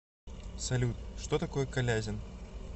салют что такое калязин